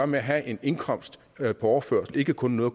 med at have en indkomst på overførsel ikke kun noget